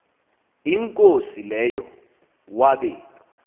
inkosi leyo wabe